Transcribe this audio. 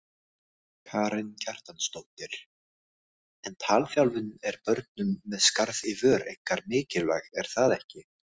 Karen Kjartansdóttir: En talþjálfun er börnum með skarð í vör einkar mikilvæg er það ekki?